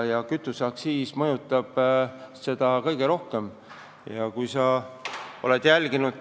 Ja kütuseaktsiis mõjutab seda tõesti palju.